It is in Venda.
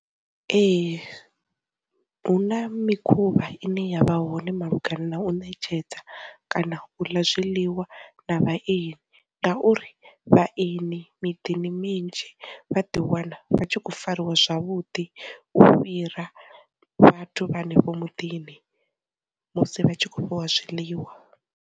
Ee, hu na mikhuvha ine yavha hone malugana na u ṋetshedza kana u ḽa zwiḽiwa na vhaeni, ngauri vha eni miḓini minzhi vha ḓi wana vha tshi khou fariwa zwavhuḓi u fhira vhathu vha hanefho mudini musi vha tshi khou fhiwa zwiḽiwa.